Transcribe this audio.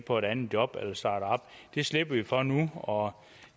på et andet job det slipper vi for nu og